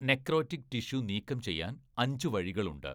Necrotic tissue നീക്കം ചെയ്യാൻ അഞ്ച് വഴികളുണ്ട്.